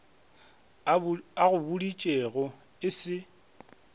a go boditšego e se